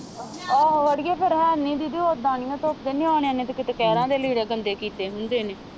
ਆਹੋ ਆੜੀਏ ਫਿਰ ਹੈ ਨੀ ਸੀ ਤੇ ਓਦਾਂ ਨੀ ਮੈਂ ਧੋਤੇ ਨਿਆਣਿਆਂ ਨੇ ਤੇ ਕਿਤੇ ਕਹਿਰਾਂ ਦੇ ਲੀੜੇ ਗੰਦੇ ਕੀਤੇ ਹੁੰਦੇ ਨੇ।